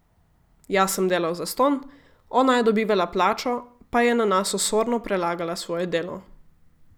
Jaz sem delal zastonj, ona je dobivala plačo, pa je na nas osorno prelagala svoje delo.